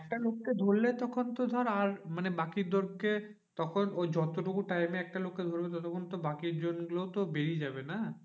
একটা লোককে ধরলে তখন তো ধর আর মানে বাকি তখন ও যতটুকু time এ একটা লোককে ধরবে ততক্ষন তো বাকি জন গুলোতো বেরিয়ে যাবে না?